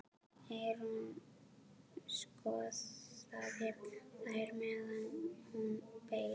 Eyrún skoðaði þær meðan hún beið.